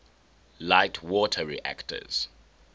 light water reactors